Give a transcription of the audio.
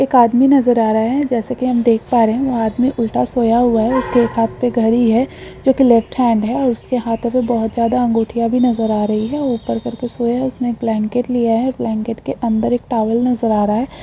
एक आदमी नजर आ रहा है जैसे के हम देख पा रहे है आदमी उल्टा सोया हुआ है उसके हाथ मे घड़ी है जो की लेफ्ट-हैन्ड है उसके हाथ मे बहुत ज्यादा अंगूठिया नजर आ रही है उपर कर के सोया है उसके उपेर ब्लैंकेट है ब्लैंकेट के अंदर टोवेल नजर आ रहा है।